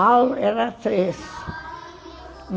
Al era três.